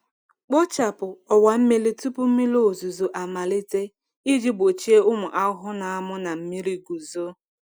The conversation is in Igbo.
Kpochapụ ọwa mmiri tupu mmiri ozuzo amalite iji gbochie ụmụ ahụhụ na-amụ na mmiri guzo.